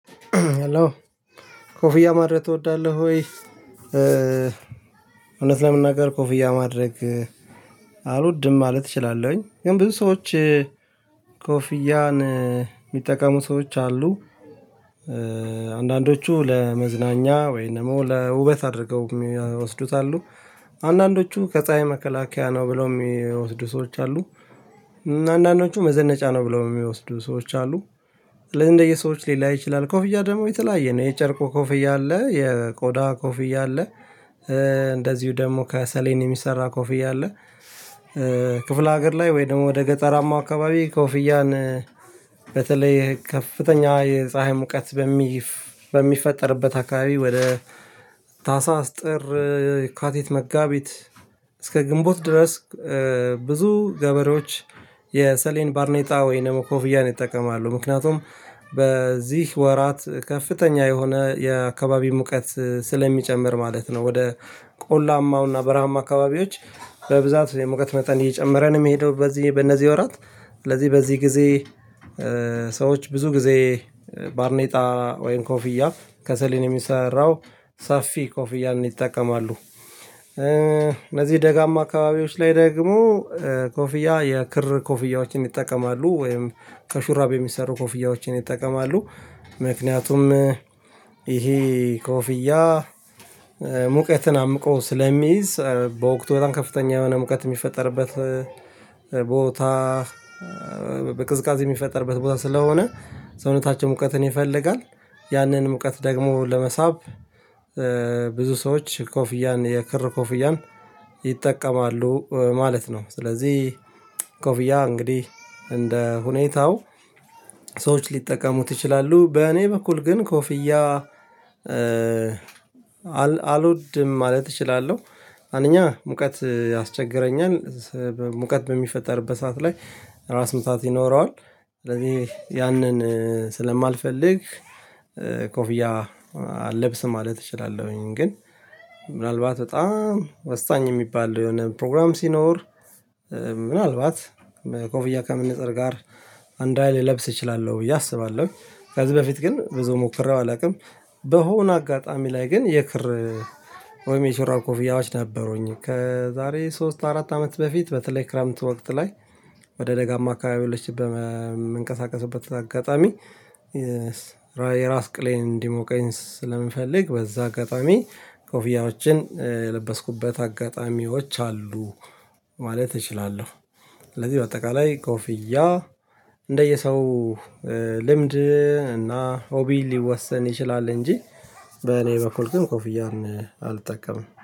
ሃሎ ኮፍያ ማድረግ ትወዳለህ ወይ? እውነት ለመናገር ኮፍያ ማድረግ አልወድም ማለት እችላለሁኝ ግን ብዙ ሰዎች ኮፍያን የሚጠቀሙ ሰዎች አሉ። አንዳንዶቹ ለመዝናኛ ወይም ደግሞ ለውበት አድርገው የሚወስዱት አሉ። አንዳንዶቹ ከፀሀይ መከላከያ ነው ብለው የሚወስዱ ሰዎች አሉ። አንዳንዶቹ መዘነጫ ነው ብለው የሚወስዱ ሰዎች አሉ። እንደየሰዎች ሊላይ ይችላል ኮፍያ ደግሞ የተለያየ ነው የጨርቁ ኮፍያ አለ የቆዳ ኮፍያ አለ እንደዚሁ ደግሞ ከሰሌን የሚሰራ ኮፍያ አለ። ክፍለ ሀገር ላይ ወይ ደግሞ ወደ ገጠራማ አካባቢ ኮፍያን በተለይ ከፍተኛ የፀሀይ ሙቀት በሚፈጠርበት አካባቢ ወደ ታህሳስ ጥር የካቲት መጋቢት እስከ ግንቦት ድረስ ብዙ ገበሬዎች የሰሌን ባርኔጣ ወይን ደግሞ ኮፍያን ይጠቀማሉ። ምክንያቱም በዚህ ወራት ከፍተኛ የሆነ የአካባቢ ሙቀት ስለሚጨምር ማለት ነው ወደ ቆላማውና በረሃማ አካባቢዎች በብዛት የሙቀት መጠን እየጨመረን የሚሄደው በዚህ በእነዚህ ወራት ስለዚህ በዚህ ጊዜ ሰዎች ብዙ ጊዜ ባርኔጣ ወይም ኮፍያ ከሰሌን የሚሰራው ሰፊ ኮፍያን ይጠቀማሉ። ለዚህ ደጋማ አካባቢዎች ላይ ደግሞ ኮፍያ የክር ኮፍያዎችን ይጠቀማሉ ወይም ከሹራብ የሚሰሩ ኮፍያዎችን ይጠቀማሉ። ምክንያቱም ይሄ ኮፍያ ሙቀትን አምቆ ስለሚይዝ በወቅቱ በጣም ከፍተኛ የሆነ ሙቀት የሚፈጠርበት ቦታ በቅዝቃዜ የሚፈጠርበት ቦታ ስለሆነ ሰውነታቸው ሙቀትን ይፈልጋል ያንን ሙቀት ደግሞ ለመሳብ ብዙ ሰዎች ኮፍያን የክር ኮፍያን ይጠቀማሉ ማለት ነው። ስለዚህ ኮፍያ እንግዲህ እንደ ሁኔታው ሰዎች ሊጠቀሙት ይችላሉ። በእኔ በኩል ግን ኮፍያ አልወድም ማለት እችላለሁ። አንደኛ ሙቀት ያስቸግረኛል ሙቀት በሚፈጠርበት ሰዓት ላይ ራስ ምታት ይኖረዋል ስለዚህ ያንን ስለማልፈልግ ኮፍያ አለብስም ማለት እችላለሁኝ። ግን ምናልባት በጣም ወሳኝ የሚባል የሆነ ፕሮግራም ሲኖር ምናልባት ኮፍያ ከመነፀር ጋር አንድ አይነት ልለብስ እችላለሁ ብዬ አስባለሁ። ከዚህ በፊት ግን ብዙ ሞክሬው አላውቅም። በሆነ አጋጣሚ ላይ ግን የክር ወይም የሹራብ ኮፍያወች ነበሩኝ ከዛሬ ሶስት አራት አመት በፊት በተለይ ክረምት ወቅት ላይ ወደ ደጋማ አካባቢው ለችግር በመንቀሳቀስበት አጋጣሚ የራስ ቅሌን እንዲሞቀኝ ስለምፈልግ በዛ አጋጣሚ ኮፊያዎችን የለበስኩበት አጋጣሚዎች አሉ። ማለት እችላለሁ ስለዚህ በአጠቃላይ ኮፍያ እንደየሰው ልምድ እና ሆቢ ሊወሰን ይችላል። እንጂ በኔ በኩል ግን ኮፍያን አልጠቀምም